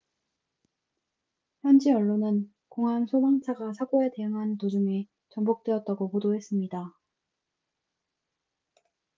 현지 언론은 공항 소방차가 사고에 대응하는 도중에 전복되었다고 보도했습니다